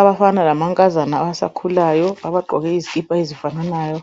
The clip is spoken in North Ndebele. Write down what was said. Abafana lamankazana abasakhulayo abagqoke izikipa ezifananayo